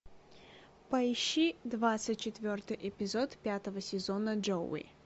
поищи двадцать четвертый эпизод пятого сезона джоуи